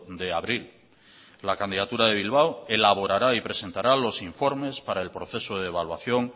de abril la candidatura de bilbao elaborará y presentará los informes para el proceso de evaluación